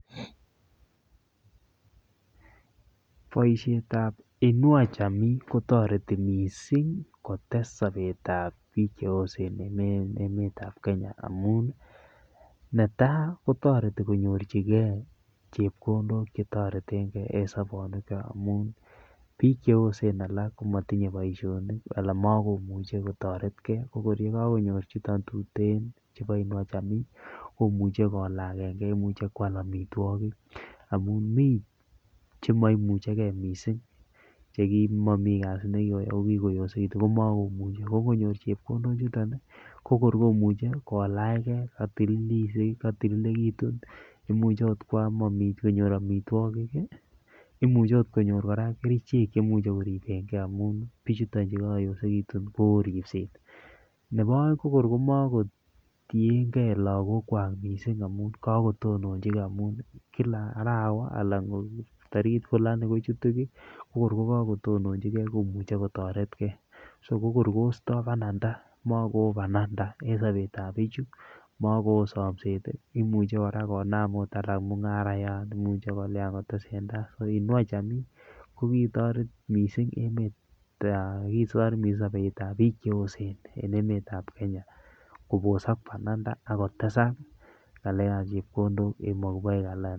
Boisietab inua jamii kotoreti mising kotes sobetab piik che osen en emetab Kenya amun, netai kotoreti konyorchikei chepkondok chetoretenkei en sobonwechak amun, piik che osen alak ko matinye boisionik ala makomuchi kotoretkei, ko kor yekakonyor chuton tuten chebo inua jamii komuche kolakenkei, imuche kwal amitwogik amun mi che maimuchikei mising che kimomi kazi ne kikayai ako kikoyosekitun ko makomuchi, ko ngonyor chepkondochuton ii, ko kor komuche kolachkei, katililekitun, imuche akot konyor amitwogik ii, imuchi akot konyor kora kerichek chemuche koribenkei amun pichuton che kakoyosekitun ko oo ripset, nebo aeng ko kor makotienkei lagokwak mising amun kakotonchikei amun, kila arawa alan tarikit fulani kochutu kiy, ko kor ko kakotononchikei komuche kotoretkei, so kor koistoi bananda mako oo bananda en sobetab pichu, mako oo somset ii, imuchi kora konam ot alak mungarayan, imuchi kolya kotesentai so inua jamii ko kitoret mising sobetab piik che osen en emetab Kenya, kobosok bananda akotesak ngalekab chepkondok en maguboik alan.....